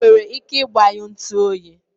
i nwere ike igbanyụ ntu oyi?